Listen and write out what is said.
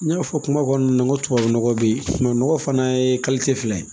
N y'a fɔ kuma kɔnɔna na n ko tubabu nɔgɔ bɛ yen nɔgɔ fana ye fila ye